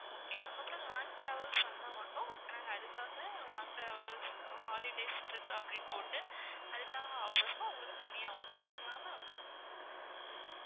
okay ma'am அப்புறம் long travels வந்தா மட்டும் நாங்க அதுக்காக long travels holidays, trip அப்படின்னு போட்டு அதுக்காக offers லாம் உங்களுக்கு தனியா உண்டு okay ங்களா ma'am